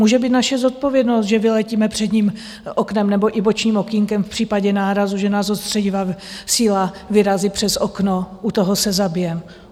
Může být naše zodpovědnost, že vyletíme předním oknem nebo i bočním okýnkem v případě nárazu, že nás odstředivá síla vyrazí přes okno, u toho se zabijeme.